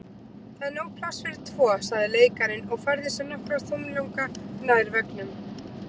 Það er nóg pláss fyrir tvo sagði leikarinn og færði sig nokkra þumlunga nær veggnum.